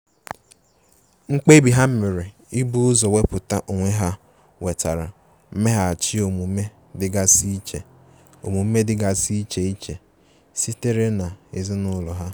Mkpebi ha mere ibu ụzọ wepụta onwe ha nwetara mmeghachi omume dịgasi iche omume dịgasi iche iche sitere n'ezinụlọ ha.